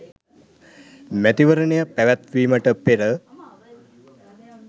මැතිවරණය පැවැත්වීමට පෙර